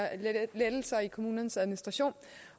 lettelser i kommunernes administration